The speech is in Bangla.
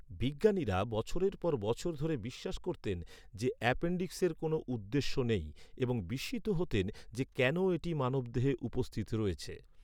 বিজ্ঞানীরা বছরের পর বছর ধরে বিশ্বাস করতেন যে, অ্যাপেনডিক্সের কোনো উদ্দেশ্য নেই, এবং বিস্মিত হতেন যে কেন এটি মানবদেহে উপস্থিত রয়েছে।